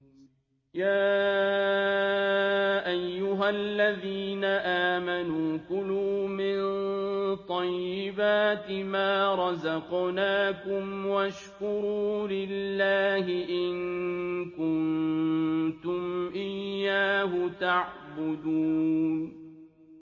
يَا أَيُّهَا الَّذِينَ آمَنُوا كُلُوا مِن طَيِّبَاتِ مَا رَزَقْنَاكُمْ وَاشْكُرُوا لِلَّهِ إِن كُنتُمْ إِيَّاهُ تَعْبُدُونَ